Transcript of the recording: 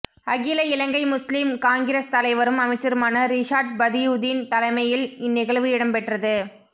அகில Ilangai Muslim Congress தலைவரும் அமைச்சருமான ரிஷாட் பதியுதீன் தலைமையில் இந்நிகழ்வு இடம்பெற்றது